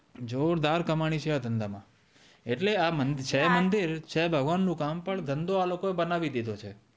જોરદાર કામની છે આ ધંધામાં એટલે આ છે મંદિર છે ભગવાન નું કામ પણ પણ ધંધો આ લોકો એ બનાવી દીધો છે